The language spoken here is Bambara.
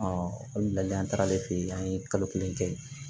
olu ladilikan taara ale fɛ yen an ye kalo kelen kɛ